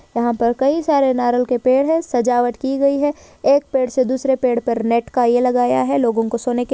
यहाँ पर कई सारे नारल के पेड़ है सजावट की गयी है एक पेड़ से दूसरे पेड़ पर नेट का ये लगाया है लोगों को सोने के--